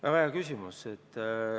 Väga hea küsimus!